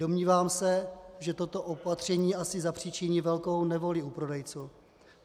Domnívám se, že toto opatření asi zapříčiní velkou nevoli u prodejců.